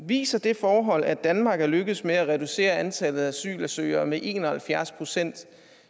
viser det forhold at danmark er lykkedes med at reducere antallet af asylansøgere med en og halvfjerds procent